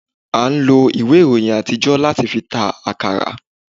a n lò iwé iroyín atijo, latí fí ta akará